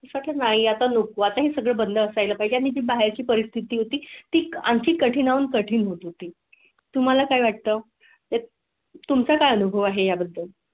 स्वातंत्र्या चा अनुभव आता हे सगळं बंद असाय ला पाहिजे आणि बाहेरची परिस्थिती आणखी कठीण कठीण होत होती तुम्हाला काय वाटतं ते तुमचा काय अनुभव आहे याबद्दल.